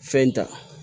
Fɛn ta